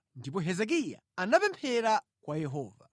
Ndipo Hezekiya anapemphera kwa Yehova: